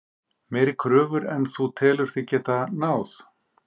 Meiri kröfur en þú telur þig geta náð?